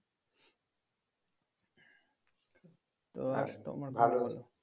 তো